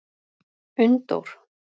Unndór